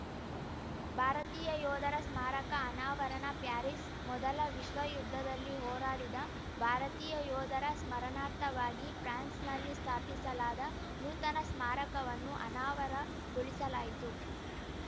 ಭಾರತೀಯ ಯೋಧರ ಸ್ಮಾರಕ ಅನಾವರಣ ಪ್ಯಾರಿಸ್‌ ಮೊದಲ ವಿಶ್ವಯುದ್ಧದಲ್ಲಿ ಹೋರಾಡಿದ ಭಾರತೀಯ ಯೋಧರ ಸ್ಮರಣಾರ್ಥವಾಗಿ ಫ್ರಾನ್ಸ್‌ನಲ್ಲಿ ಸ್ಥಾಪಿಸಲಾದ ನೂತನ ಸ್ಮಾರಕವನ್ನು ಅನಾವರಗೊಳಿಸಲಾಯಿತು